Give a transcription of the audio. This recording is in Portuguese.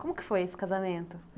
Como que foi esse casamento?